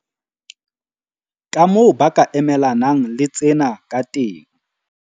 Kamoo ba ka emelanang le tsena kateng